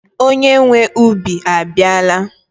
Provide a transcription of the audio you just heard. Onye nwee ubi abiala